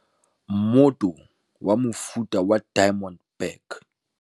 MMOTO WA MOFUTA WA DIAMOND BACK